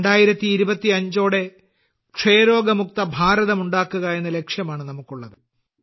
2025ഓടെ ക്ഷയരോഗമുക്ത ഭാരതം ഉണ്ടാക്കുക എന്ന ലക്ഷ്യമാണ് നമുക്കുള്ളത്